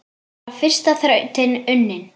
Þá var fyrsta þrautin unnin.